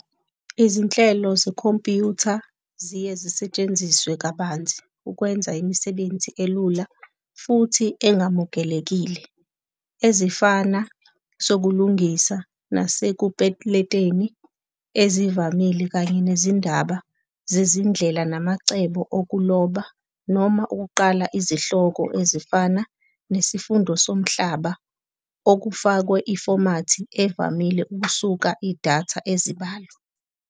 Izinhlelo zekhompyutha ziye zisetshenziswa kabanzi ukwenza imisebenzi elula futhi engamukelekile, ezifana sokulungisa nasekupeleteni ezivamile kanye nezindaba zezindlela namacebo okuloba, noma ukuqala izihloko ezifana nesifundo somhlaba okufakwe ifomathi evamile kusuka idatha ezibalo.